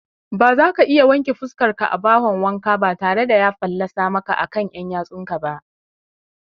Bazaka iya wanke fuskarka a bahon wanka batare da ya fallatsa maka akan ƴan ƴatsunsa ba